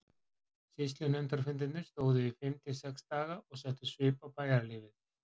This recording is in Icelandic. Sýslunefndarfundirnir stóðu í fimm til sex daga og settu svip á bæjarlífið.